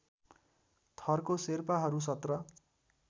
थरको शेर्पाहरू १७